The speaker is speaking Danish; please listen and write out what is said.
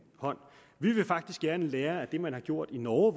hånd vi vil faktisk gerne lære af det man har gjort i norge